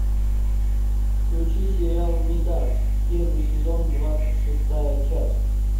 включи сериал мидас первый сезон двадцать шестая часть